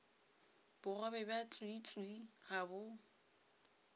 bogobe bja tswiitswii ga bo